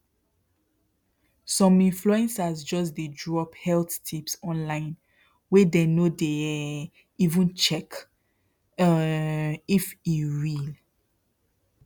some influencers just dey drop health tips online wey dey no dey um even check um if e real